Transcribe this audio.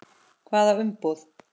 Hvaða umboð?